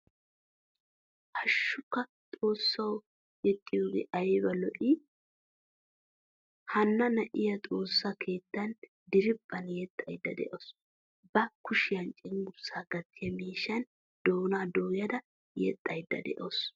Hashshukka xoossawu yexiyoge ayba lo'i? Hanna na'iya xoossa keettan diriphphan yeexxayda de'awusu. Ba kushiyan cenggurssa gattiya miishshan doonaa dooyada yexayda deawusu.